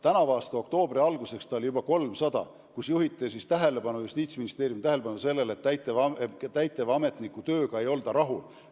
Tänavu oli oktoobri alguseks juba 300 pöördumist, kus juhiti Justiitsministeeriumi tähelepanu sellele, et täitevametniku tööga ei olda rahul.